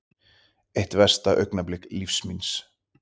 Eitt versta augnablik lífs míns